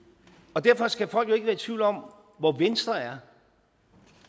og derfor skal folk jo ikke være i tvivl om hvor venstre er